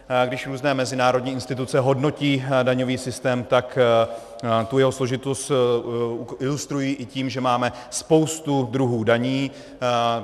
Když různé mezinárodní instituce hodnotí daňový systém, tak tu jeho složitost ilustrují i tím, že máme spoustu druhů daní.